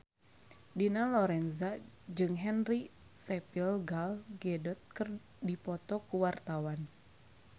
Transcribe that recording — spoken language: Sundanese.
Dina Lorenza jeung Henry Cavill Gal Gadot keur dipoto ku wartawan